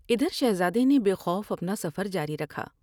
ادھر شہزادے نے بے خوف اپنا سفر جاری رکھا ۔